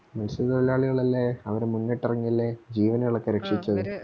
മത്സ്യത്തൊഴിലാളികളല്ലേ അവര് മുന്നിട്ടിറങ്ങിയല്ലേ ജീവനുകളൊക്കെ രക്ഷിച്ചത്